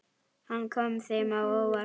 Hann kom þeim á óvart.